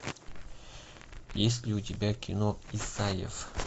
есть ли у тебя кино исаев